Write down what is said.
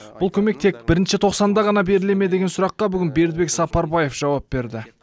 бұл көмек тек бірінші тоқсанда ғана беріле ме деген сұраққа бүгін бердібек сапарбаев жауап берді